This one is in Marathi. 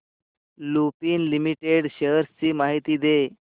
लुपिन लिमिटेड शेअर्स ची माहिती दे